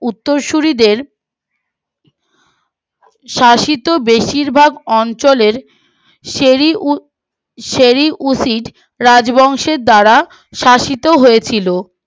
উত্তরসূরিদের শাসিত বেশিরভাগ অঞ্চলের রাজবংশের দ্বারা শাসিত হয়েছিল